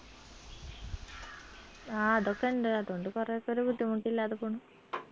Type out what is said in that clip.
ആ അതൊക്കെ ഇണ്ട് അതോണ്ട് കൊറെയൊക്കെ ഒരു ബുദ്ധിമുട്ടില്ലാതെ പോണു